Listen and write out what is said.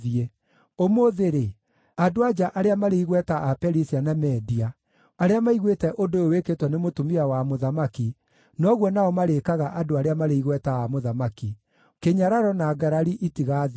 Ũmũthĩ-rĩ, andũ-a-nja arĩa marĩ igweta a Perisia na Media arĩa maiguĩte ũndũ ũyũ wĩkĩtwo nĩ mũtumia wa mũthamaki noguo nao marĩĩkaga andũ arĩa marĩ igweta a mũthamaki. Kĩnyararo na ngarari itigathira.